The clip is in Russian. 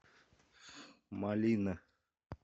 малина